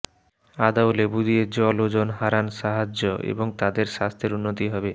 আদা ও লেবু দিয়ে জল ওজন হারান সাহায্য এবং তাদের স্বাস্থ্যের উন্নতি হবে